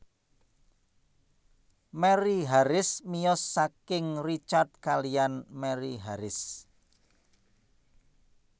Mary Harris miyos saking Richard kaliyan Mary Haris